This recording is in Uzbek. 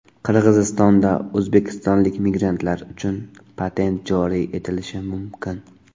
Qirg‘izistonda o‘zbekistonlik migrantlar uchun patent joriy etilishi mumkin.